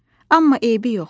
Amma eybi yox.